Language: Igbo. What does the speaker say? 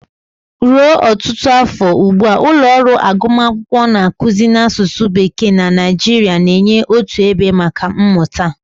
Ruo ọtụtụ afọ ugbu a, ụlọ ọrụ agụmakwụkwọ na-akụzi n'asụsụ Bekee na Nigeria, na-enye otu ebe maka mmụta.